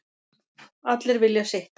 Allir vilja sitt